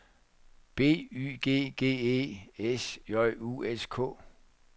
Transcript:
B Y G G E S J U S K